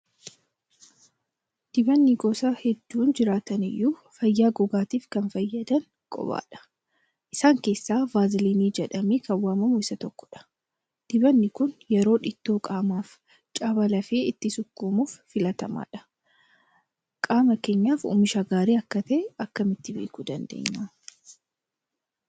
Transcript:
Dibanni gosa hedduun jiraataniyyuu fayyaa gogaatiif kan fayyadan qobaadha. Isaan keessaa vaaziliinii jedhamee kan waamamu isa tokkodha. Dibanni kun yeroo dhiitoo qaamaafi caba lafee ittiin sukkuumuuf filatamaadha. Qaama keenyaaf oomisha gaarii ta'e akkamitti beekuu dandeenya?